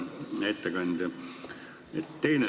Hea ettekandja!